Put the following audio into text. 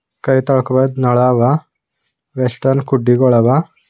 ಕೈ ತೊಳ್ಕೊಬೇಕು ನಳಾಗ ವೆಸ್ಟರ್ನ್ ಕುಡ್ಡಿಗಳ್ ಅವ.